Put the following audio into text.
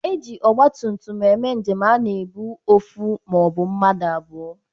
E jikwa ọgbatumtum eme njem a na-ebu ofu or mmadu abụọ.